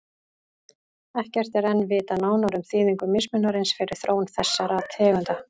Ekkert er enn vitað nánar um þýðingu mismunarins fyrir þróun þessara tegunda.